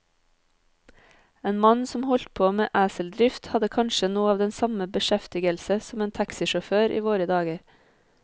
En mann som holdt på med eseldrift, hadde kanskje noe av den samme beskjeftigelse som en taxisjåfør i våre dager.